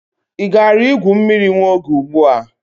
Ị gara igwu mmiri nwa oge ugbu a?